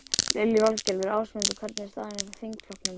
Lillý Valgerður: Ásmundur, hvernig er staðan í þingflokknum?